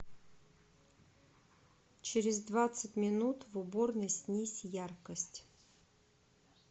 через двадцать минут в уборной снизь яркость